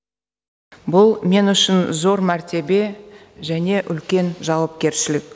бұл мен үшін зор мәртебе және үлкен жауапкершілік